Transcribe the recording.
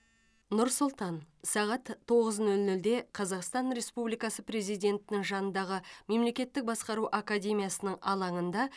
нұр сұлтан сағат тоғыз нөл нөлде қазақстан республикасы президентінің жанындағы мемлекеттік басқару академиясының алаңында